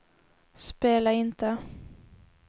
spela inte